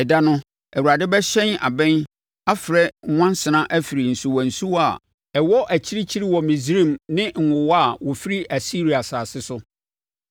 Ɛda no, Awurade bɛhyɛn abɛn afrɛ nwansena afiri nsuwansuwa a ɛwɔ akyirikyiri wɔ Misraim ne nwowa a wɔfiri Asiria asase so.